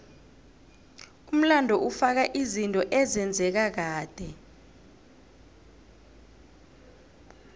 umlando ufaka izinto ezenzeka kade